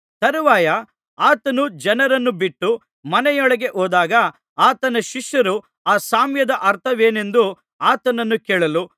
ತರುವಾಯ ಆತನು ಜನರನ್ನು ಬಿಟ್ಟು ಮನೆಯೊಳಗೆ ಹೋದಾಗ ಆತನ ಶಿಷ್ಯರು ಆ ಸಾಮ್ಯದ ಅರ್ಥವೇನೆಂದು ಆತನನ್ನು ಕೇಳಲು